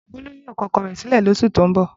Bolu yoo kọ ọkọ rẹ silẹ ni oṣu ti n bọ